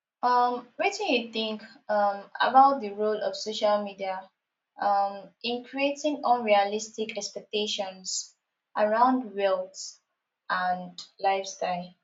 um wetin you think um about di role of social media um in creating unrealistic expectations around wealth and lifestyle